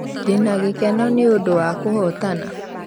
ndĩna gĩkeno ni ũndũwa kũhotana